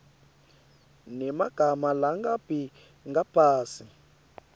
nemagama langabi ngaphasi